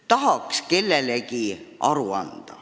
Tahaks kellelegi aru anda.